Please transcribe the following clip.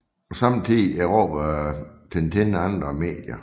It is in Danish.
På samme tid erobrede Tintin andre medier